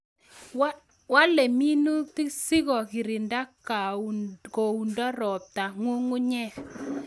Walei minutik siko kirinda kounda ropta ng'ungunyek